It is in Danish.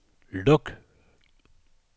luk